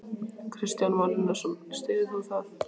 Kristján Már Unnarsson: Styður þú það?